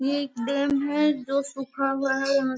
यह एक डैम है जो सुखा हुआ है यहां --.